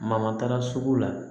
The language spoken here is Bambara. Mama taara sugu la